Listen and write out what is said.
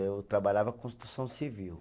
Eu trabalhava com construção civil.